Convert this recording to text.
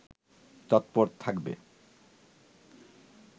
তৎপর থাকবে